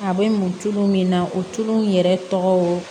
A bɛ mun tulu min na o tulu in yɛrɛ tɔgɔ